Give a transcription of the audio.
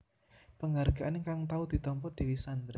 Penghargaan kang tau ditampa Dewi Sandra